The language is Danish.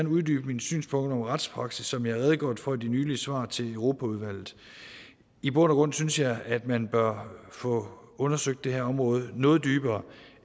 uddybe mine synspunkter om retspraksis som jeg har redegjort for i de nylige svar til europaudvalget i bund og grund synes jeg at man bør få undersøgt det her område noget dybere